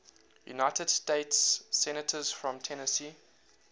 united states senators from tennessee